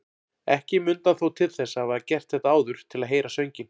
Ekki mundi hann þó til þess að hafa gert þetta áður til að heyra sönginn.